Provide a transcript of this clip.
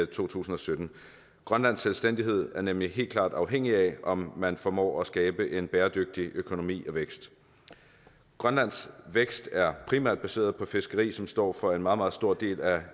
to tusind og sytten grønlandsk selvstændighed er nemlig helt klart afhængig af om man formår at skabe en bæredygtig økonomi og vækst grønlands vækst er primært baseret på fiskeri som står for en meget meget stor del af